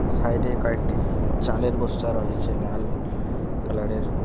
সাইডে কয়েকটি চালের বস্তা রয়েছে লাল কালারের।